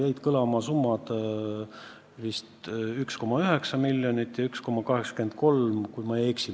Jäid kõlama summad 1,9 miljonit ja 1,83 miljonit, kui ma ei eksi.